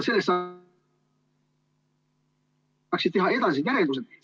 ... saaksid teha edasised järeldused.